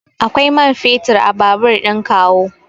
Akwai man fetur a babur ɗin kawu.